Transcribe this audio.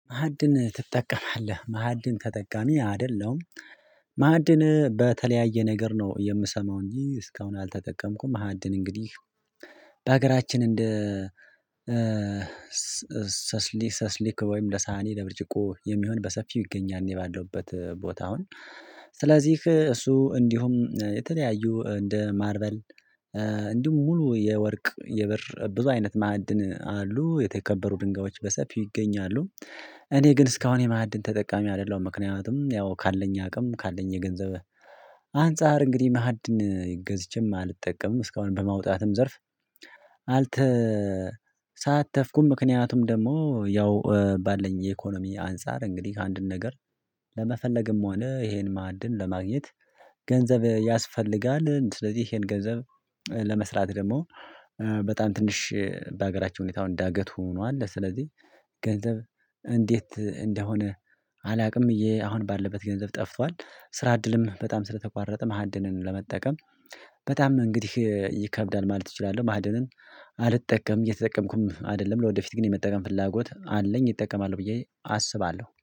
ማዕድን ትጠቀማለህ? ማዕድን ተጠቃሚ አይደለም ማዕድን በተለያየ ነገር ነው የምሰማው እንጂ እስካሁን አልተጠቀምኩም ማዕድን እንግዲህ በሀገራችን እንደ ሰስሊክ ሰስሊክ ወይም ለሳህኒ ለብርጭቆ የሚሆን በሰፊው ይገኛል የባለውበት ቦታ አሁን ስለዚህ እሱ እንዲሁም የተለያዩ እንደ ማርበል እንዲሁም ሙሉ የወርቅ፣ የበር ብዙ አይነት ማዕድን አሉ፤ የተከበሩ ድንጋዮች በሰፊው ይገኛሉ፤ እኔ ግን እስካሁን የማዕድን ተጠቃሚ አይደለሁም፤ ምክንያቱም ያው ካለኝ አቅም፣ ካለኝ የገንዘብ አንፃር እንግዲህ ማዕድን ገዝችም አልጠቀምም፤ እስካሁን በማውጣትም ዘርፍ አልተሳተፍኩም፤ ምክንያቱም ደግሞ ያው ባለኝ የኢኮኖሚ አንፃር እንግዲህ አንድን ነገር ለመፈለግም ሆነ ይሄን ማዕድን ለማግኘት ገንዘብ ያስፈልጋል። ስለዚህ ይሄን ገንዘብ ለመስራት ደግሞ በጣም ትንሽ በሀገራችን ሁኔታ አሁን ዳገት ሆኗል፤ ስለዚህ ገንዘብ እንዴት እንደሆነ አላውቅ፤ እየ አሁን ባለበት ገንዘብ ጠፏል፤ ስራ እድልም በጣም ስለተቋረጠ ማሃድንን ለመጠቀም በጣም እንግዲህ ይከብዳል ማለት እችላለሁ። ማዕድንን አልጠቀምም እየተጠቀምኩም አይደለም ለወደፊት ግን የመጠቀም ፍላጎት አለኝ እጠቀማለሁ ብዬ አስባለሁ።